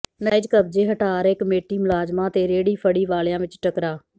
ਨਾਜਾਇਜ਼ ਕਬਜ਼ੇ ਹਟਾ ਰਹੇ ਕਮੇਟੀ ਮੁਲਾਜ਼ਮਾਂ ਤੇ ਰੇਹੜੀ ਫੜ੍ਹੀ ਵਾਲਿਆਂ ਵਿਚ ਟਕਰਾਅ